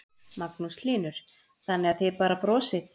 Magnús Hlynur: Þannig að þið bara brosið?